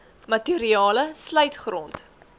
materiale sluit grond